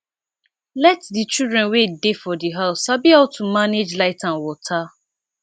let di children wey dey for house sabi how to manage light and water